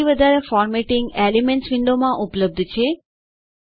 હજી વધારે formatting elements windowમાં ઉપલબ્ધ છે